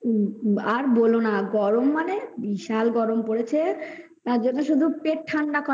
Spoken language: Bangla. হুম আর বলোনা গরম মানে বিশাল গরম পড়েছে আর দেখো শুধু পেট ঠান্ডা করা